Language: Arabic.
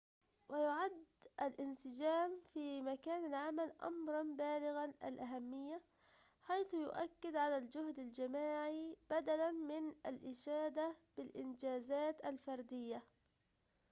و يُعد الانسجام في مكان العمل أمراَ بالغ الأهمية حيث يؤكد على الجهد الجماعي بدلاً من الإشادة بالإنجازات الفردية